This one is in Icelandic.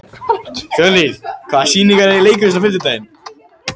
Fjörnir, hvaða sýningar eru í leikhúsinu á fimmtudaginn?